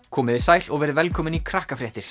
komiði sæl og verið velkomin í